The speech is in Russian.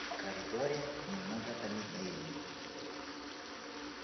в коридоре немного помедлили